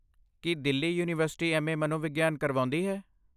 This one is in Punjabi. ਕੀ ਦਿੱਲੀ ਯੂਨੀਵਰਸੀਟੀ ਐਮ.ਏ. ਮਨੋਵਿਗਿਆਨ ਕਰਵਾਉਂਦੀ ਹੈ?